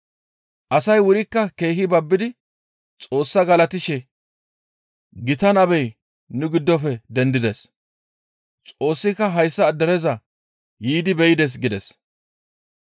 Asay wurikka keehi babbidi Xoossaa galatishe, «Gita nabey nu giddofe dendides; Xoossika hayssa dereza yiidi be7ides» gides.